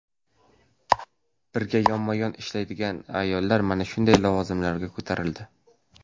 Birga yonma-yon ishlagan ayollar mana shunday lavozimlarga ko‘tarildi.